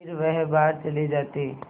फिर वह बाहर चले जाते